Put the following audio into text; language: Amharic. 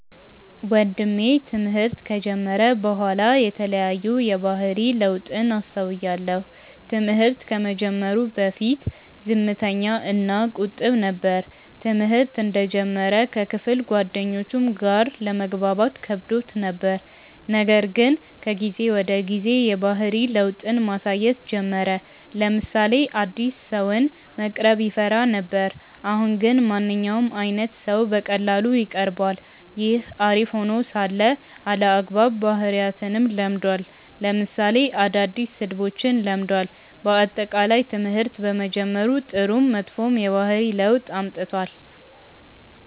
ወንድሜ ትምህርት ከጀመረ በኋላ የተለያዩ የባህሪ ለውጥን አስተውያለው። ትምህርት ከመጀመሩ በፊት ዝምተኛ እና ቁጥብ ነበር። ትምህርተ እንደጀመረ ከክፍል ጓደኞቹም ጋር ለመግባባት ከብዶት ነበር :ነገር ግን ከጊዜ ወደ ጊዜ የባህሪ ለውጥን ማሳየት ጀመረ : ለምሳሌ አዲስ ሰውን መቅረብ ይፈራ ነበር አሁን ግን ማንኛውም አይነት ሰው በቀላሉ ይቀርባል። ይህ አሪፍ ሄኖ ሳለ አልአግባብ ባህሪያትንም ለምዷል ለምሳሌ አዳዲስ ስድቦችን ለምዷል። በአጠቃላይ ትምህርት በመጀመሩ ጥሩም መጥፎም የባህሪ ለውጥ አምጥቷል።